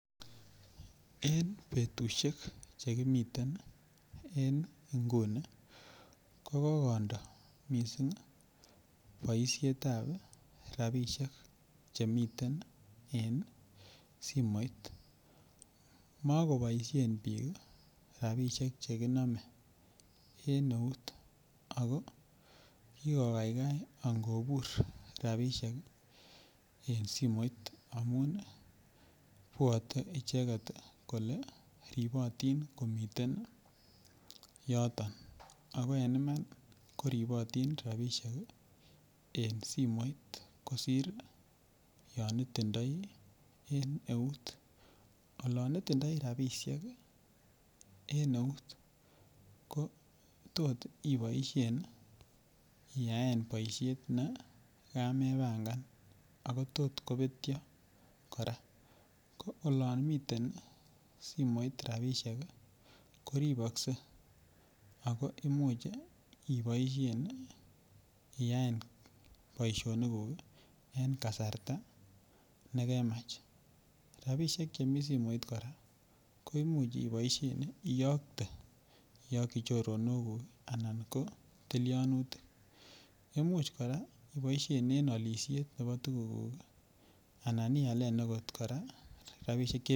En betushek chekimiten en inguni ko kokondo missing boishetab rabishek chemiten en simoit motoboishen bik rabishek chekinome en neut ako kikogaigai angobur rabishek en simoit amun ibwote icheket kole ribotin komiten yoto ako en Iman koribotin rabishek en simoit kosir yon itindoi en neut. Olon itindoi rabishek en neut ko tot iboishen iyaen boishet nekamebamkan ako tot kopetyo Koraa ko olon miten simoit rabishek koriboksei ako imuch iboishen iyaen boishonik kuk en kasarta nekemach. Rabishek chemii simoit kora ko imuch iboishen iyokte iyoki choronok kuk anan ko tilionutik, imuch koraa iboishen en olishet nebo tukuk kuku anan ialen koraa rabishek che.